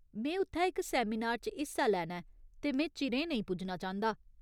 में उत्थै इक सैमिनार च हिस्सा लैना ऐ, ते में चिरें नेईं पुज्जना चांह्दा।